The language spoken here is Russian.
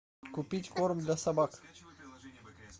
купить корм для собак